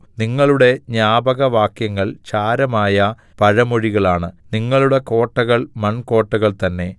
നിങ്ങളുടെ ജ്ഞാപകവാക്യങ്ങൾ ചാരമായ പഴമൊഴികളാണ് നിങ്ങളുടെ കോട്ടകൾ മൺകോട്ടകൾ തന്നേ